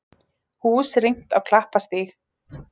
Hús rýmt á Klapparstíg